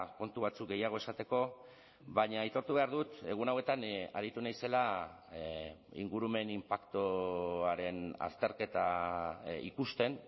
kontu batzuk gehiago esateko baina aitortu behar dut egun hauetan aritu naizela ingurumen inpaktuaren azterketa ikusten